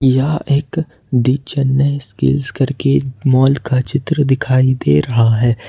यह एक the Chennai skill करके मॉल का चित्र दिखाई दे रहा है।